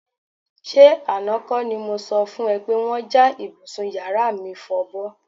S̩e àná kó̩ ni mo so̩ fún e̩ pé wó̩n ja ibùsùn yàrá mi fo̩bó̩